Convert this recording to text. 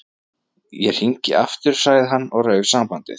Ég hringi aftur- sagði hann og rauf sambandið.